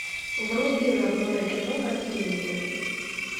вруби родное кино на телевизоре